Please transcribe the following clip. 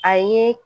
A ye